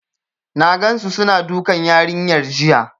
N gansu suna dukan yarinyar jiya.